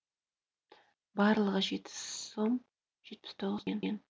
барлығы жеті сом жетпіс тоғыз тиын